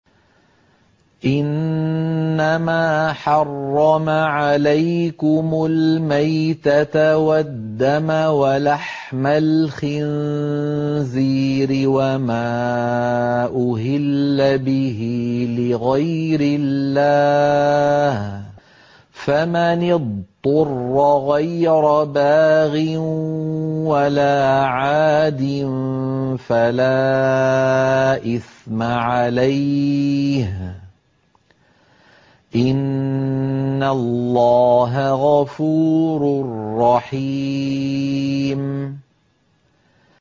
إِنَّمَا حَرَّمَ عَلَيْكُمُ الْمَيْتَةَ وَالدَّمَ وَلَحْمَ الْخِنزِيرِ وَمَا أُهِلَّ بِهِ لِغَيْرِ اللَّهِ ۖ فَمَنِ اضْطُرَّ غَيْرَ بَاغٍ وَلَا عَادٍ فَلَا إِثْمَ عَلَيْهِ ۚ إِنَّ اللَّهَ غَفُورٌ رَّحِيمٌ